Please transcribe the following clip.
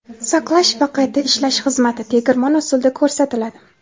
saqlash va qayta ishlash xizmati (tegirmon usulida) ko‘rsatiladi.